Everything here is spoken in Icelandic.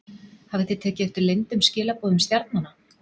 Hafið þið tekið eftir leyndum skilaboðum stjarnanna?